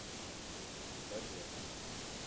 побег